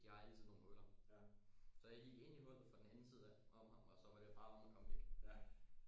De har altid nogle huller så jeg gik ind i hullet fra den anden side af om ham og så var det bare om at komme væk